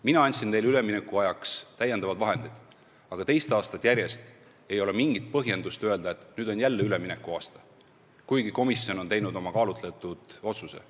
Mina andsin neile üleminekuajaks täiendava summa, aga teist aastat järjest ei ole mingit põhjust öelda, et nüüd on jälle üleminekuaasta, kuigi komisjon on teinud oma kaalutletud otsuse.